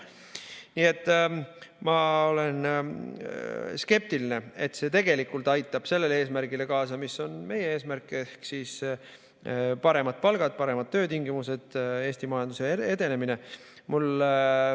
Nii et ma olen skeptiline selles suhtes, et see tegelikult aitab kaasa sellele, mis on meie eesmärk, ehk paremad palgad, paremad töötingimused, Eesti majanduse edenemine.